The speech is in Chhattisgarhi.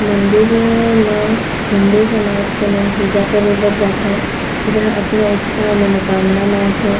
मंदिर म हिन्दू समाज के मन पूजा करे बर जाथे जहाँ अपने इच्छा मनोकामना मांगथे।